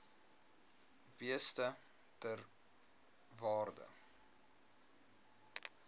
beeste ter waarde